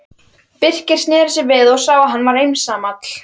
Birkir sneri sér við og sá að hann var einsamall.